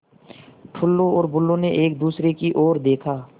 टुल्लु और बुल्लु ने एक दूसरे की ओर देखा